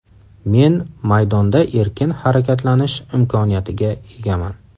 Men maydonda erkin harakatlanish imkoniyatiga egaman.